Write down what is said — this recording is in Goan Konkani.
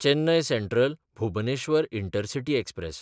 Chennai सँट्रल–भुबनेश्वर intercity express